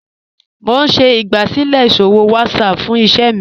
Mo n ṣẹ̀ igbásílẹ̀ iṣòwò WhatsApp fún ìṣẹ̀ mi